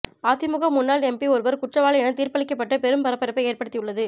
அதிமுக முன்னாள் எம்பி ஒருவர் குற்றவாளி என தீர்ப்பளிக்கப்பட்டு பெரும் பரபரப்பை ஏற்படுத்தியுள்ளது